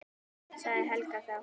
sagði Helga þá.